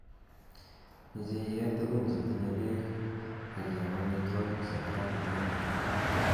meche iyee tukun chetinye peek akiam amittwakik chekaronen